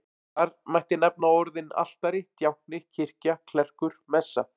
Þar mætti nefna orðin altari, djákni, kirkja, klerkur, messa.